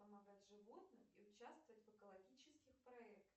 помогать животным и участвовать в экологических проектах